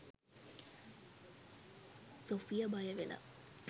Sophia බය වෙලා